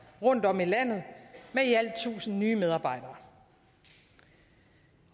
rundtomkring i landet med i alt tusind nye medarbejdere